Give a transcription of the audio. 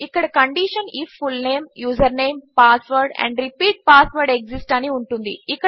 ఇక్కడ condition IF full name username password and repeat password exist అని ఉంటుంది